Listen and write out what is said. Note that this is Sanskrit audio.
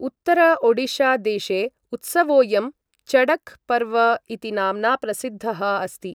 उत्तर ओडिशादेशे उत्सवोयं चडक् पर्व इति नाम्ना प्रसिद्धः अस्ति।